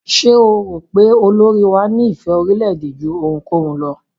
Ṣé o rò pé olórí wá ní ìfé orílẹ̀-èdè jú ohunkóhun lọ?